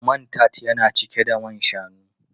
Man tart yana cike da man shanu.